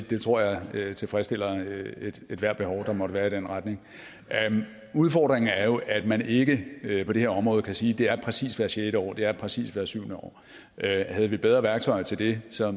det tror jeg tilfredsstiller ethvert behov der måtte være i den retning udfordringen er jo at man ikke på det her område kan sige at det er præcist hvert sjette år det er præcist hvert syvende år havde vi bedre værktøjer til det så